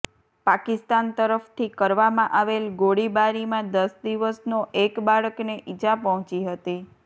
પાકિસ્તાન તરફથી કરવામાં આવેલ ગોળીબારીમાં દસ દિવસનો એક બાળકને ઈજા પહોંચી હતી